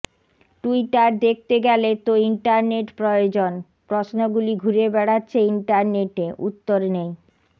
Twitter দেখতে গেলে তো ইন্টারনেট প্রয়োজন প্রশ্নগুলি ঘুরে বেড়াচ্ছে ইন্টারনেটে উত্তর নেই